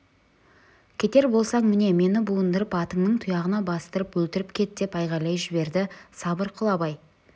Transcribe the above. кетер болсаң міне мені буындырып атыңның тұяғына бастырып өлтіріп кет деп айғайлап жіберді сабыр қыл абай